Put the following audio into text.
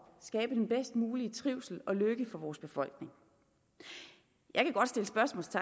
skabe den bedst mulige trivsel og lykke for vores befolkning jeg